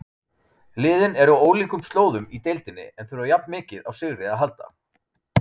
Liðin eru á ólíkum slóðum í deildinni en þurfa jafn mikið á sigri að halda.